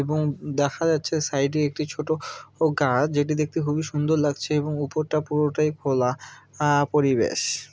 এবং দেখা যাচ্ছে সাইডে একটি ছোট ও গাছ যেটি দেখতে খুবই সুন্দর লাগছে এবং উপরটা পুরোটাই খোলা আ পরিবেশ।